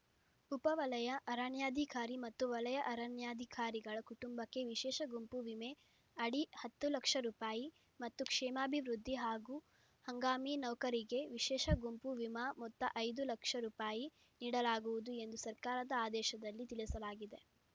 ಉಪ ವಲಯ ಅರಣ್ಯಾಧಿಕಾರಿ ಮತ್ತು ವಲಯ ಅರಣ್ಯಾಧಿಕಾರಿಗಳ ಕುಟುಂಬಕ್ಕೆ ವಿಶೇಷ ಗುಂಪು ವಿಮೆ ಅಡಿ ಹತ್ತು ಲಕ್ಷ ರೂಪಾಯಿ ಮತ್ತು ಕ್ಷೇಮಾಭಿವೃದ್ಧಿ ಹಾಗೂ ಹಂಗಾಮಿ ನೌಕರರಿಗೆ ವಿಶೇಷ ಗುಂಪು ವಿಮಾ ಮೊತ್ತ ಐದು ಲಕ್ಷ ರೂಪಾಯಿ ನೀಡಲಾಗುವುದು ಎಂದು ಸರ್ಕಾರದ ಆದೇಶದಲ್ಲಿ ತಿಳಿಸಲಾಗಿದೆ